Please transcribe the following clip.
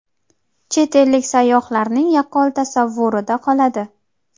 chet ellik sayyohlarning yaqqol tasavvurida qoladi.